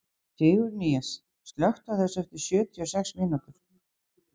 Sigurnýjas, slökktu á þessu eftir sjötíu og sex mínútur.